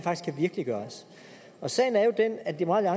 virkeliggøres og sagen er jo den at liberal